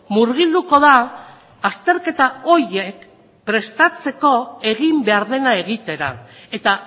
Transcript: murgilduko da azterketa horiek prestatzeko egin behar dena egitera eta